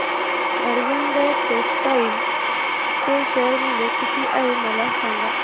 Arvind textile चे share मूल्य किती आहे मला सांगा